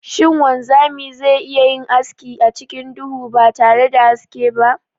Shin wanzami ze iya yin aski acikin duhu batare da haske ba?